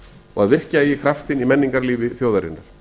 og að virkja eigi kraftinn í menningarlífi þjóðarinnar